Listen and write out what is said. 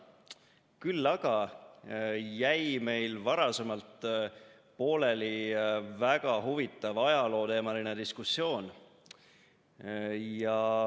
Küll aga jäi meil varem pooleli väga huvitav ajalooteemaline diskussioon.